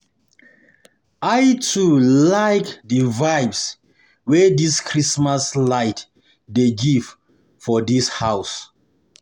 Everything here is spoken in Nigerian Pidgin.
I too like di vibe wey dis Christmas light dey give for dis house.